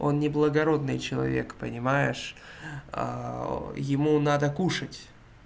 он не благородный человек понимаешь ему надо кушать